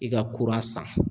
I ka kura san.